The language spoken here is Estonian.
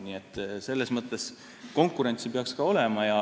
Nii et selles mõttes peaks ka konkurentsi olema.